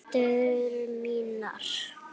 Hendur mínar.